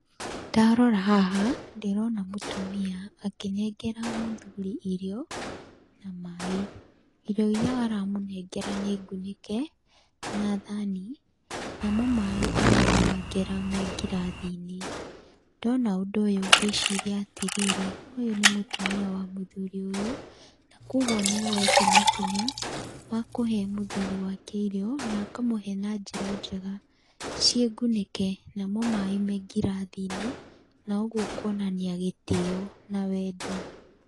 Ndarora haha, ndĩrona mũtumia akĩnengera mũthuri irio na maĩ. Irio iria aramũnengera, nĩ ngunĩke na thani, namo maĩ aramũnengera me ngirathinĩ. Ndona ũndũ ũyũ gwĩciria atĩrĩrĩ, ũyũ nĩ mũtumia wa mũthuri ũyũ na kogwo nĩoete makinya ma kũhe mũthuri wake irio, na akamũhe na njĩra njega ciĩ ngunĩke, namo maĩ me ngirathinĩ. Na ũguo kuonania gĩtĩo na wendo.